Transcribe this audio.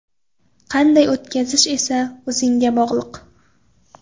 Qanday o‘tkazish esa o‘zingga bog‘liq.